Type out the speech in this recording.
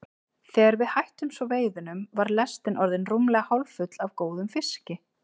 Þegar við hættum svo veiðunum var lestin orðin rúmlega hálffull af góðum fiski.